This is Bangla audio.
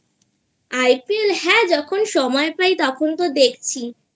IPL?হ্যাঁ যখন সময় পাই তখন তো দেখছি